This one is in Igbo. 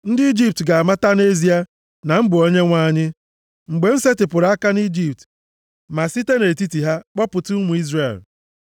Ndị Ijipt ga-amata nʼezie na m bụ Onyenwe anyị, mgbe m setịpụrụ aka nʼIjipt, ma site nʼetiti ha kpọpụta ụmụ Izrel.”